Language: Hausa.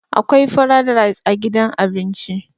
akwai frad rice a gidan abinci